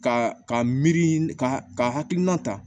Ka ka miiri ka hakilina ta